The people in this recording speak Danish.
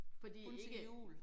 Fordi ikke